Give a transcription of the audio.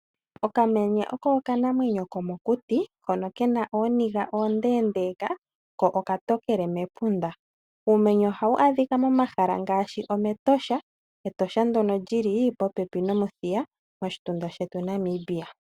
Okamenye oko oka namwenyo komokuti hoka Kena ooniga ondendeeka ko oka tokele mepunda. Uumenye oha Wu adhika mo mahala ngaashi omEtosha .Etosha ndyoka lili po pepi nOmuthiya moshitunda shetu Namibia.